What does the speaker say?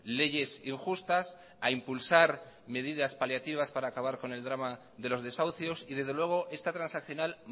leyes injustas a impulsar medidas paliativas para acabar con el drama de los desahucios y desde luego esta transaccional